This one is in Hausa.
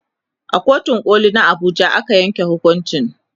a kotun koli na Abuja aka yanke hukuncin